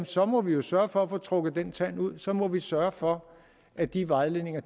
så må vi jo sørge for at få trukket den tand ud at så må vi sørge for at de vejledninger